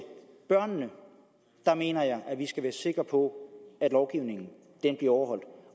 børnene mener jeg at vi skal være sikre på at lovgivningen bliver overholdt